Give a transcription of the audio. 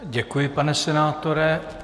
Děkuji, pane senátore.